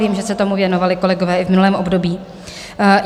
Vím, že se tomu věnovali kolegové i v minulém období.